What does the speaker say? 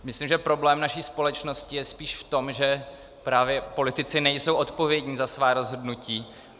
Myslím, že problém naší společnosti je spíš v tom, že právě politici nejsou odpovědní za svá rozhodnutí.